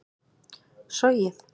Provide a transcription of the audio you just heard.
sogið